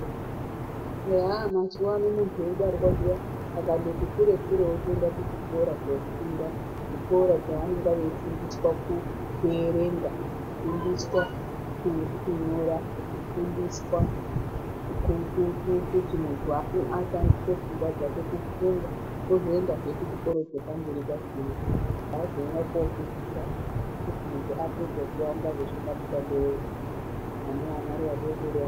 Aa mazuva ano muntu eibarwsa zviya muntu skatoti kure kure otoenda kuchikora kwaanoenda kundofunda otoenda kuhikoro kundofundab kunyora kufundiswa kuti munhu ashandise pfungwa dzake kufunga ozoendazve kuchikoro chepamberi chakona oendazve kofundiswa kuti muntu apedza angaita mushando wei.